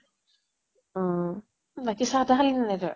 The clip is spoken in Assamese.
অম বাকী চাহ তাহ খালি নে নাই তই?